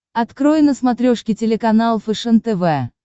открой на смотрешке телеканал фэшен тв